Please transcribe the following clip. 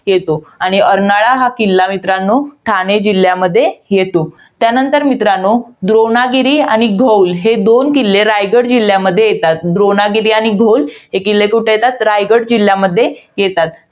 येतो. आणि अर्नाळा हा किल्ला मित्रांनो, ठाणे जिल्ह्यामध्ये येतो. त्यानंतर मित्रांनो, द्रोणागिरी आणि घौल हे दोन किल्ले रायगड जिल्ह्यामध्ये येतात. द्रोणागिरी आणि घौल हे किल्ले रायगड जिल्ह्यामध्ये येतात.